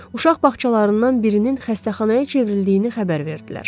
Uşaq bağçalarından birinin xəstəxanaya çevrildiyini xəbər verdilər.